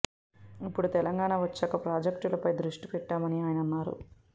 ఇప్పుడు తెలంగాణ వచ్చాక ప్రాజెక్టులపై దృష్టి పెట్టామని ఆయన అన్నారు